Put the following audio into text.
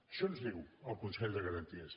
això ens diu el consell de garanties